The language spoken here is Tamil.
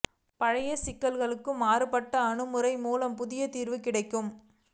பழைய சிக்கல்களுக்கு மாறுபட்ட அணுகுமுறை மூலம் புதிய தீர்வு கிடைக்கும்